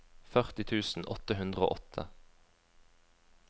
førti tusen åtte hundre og åtte